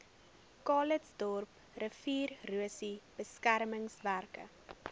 calitzdorp riviererosie beskermingswerke